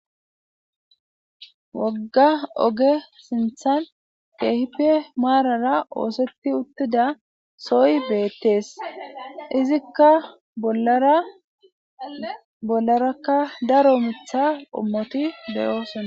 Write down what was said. Wogga oge sinththan keehippe maarara keexetida keethe uttida soha beetes izika bollaraka daro miththi qommoti doosona.